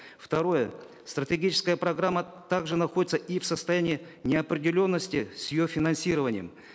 второе статегическая программа также находится и в состоянии неопределенности с ее финансированием